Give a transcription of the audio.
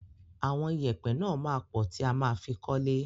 Àwọn ìyẹ̀pẹ̀ náà máa pọ̀ tí a ma fi kọ́lé.